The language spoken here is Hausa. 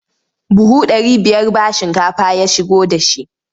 Buhu ɗari biyar ba shinkafa ya shigo da shi.